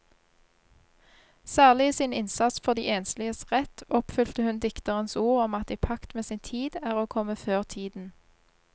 Særlig i sin innsats for de ensliges rett oppfylte hun dikterens ord om at i pakt med sin tid er å komme før tiden.